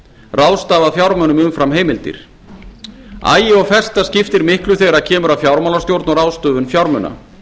ráðstafað fjármunum umfram heimildir agi og festa skiptir miklu þegar kemur að fjármálastjórn og ráðstöfun fjármuna